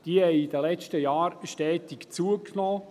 Sie haben in den letzten Jahren stetig zugenommen.